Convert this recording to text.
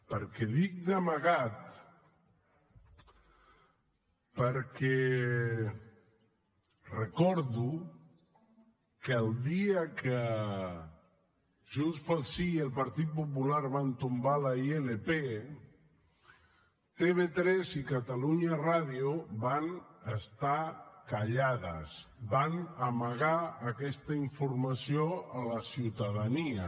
per què dic d’amagat perquè recordo que el dia que junts pel sí i el partit popular van tombar la ilp tv3 i catalunya ràdio van estar callades van amagar aquesta informació a la ciutadania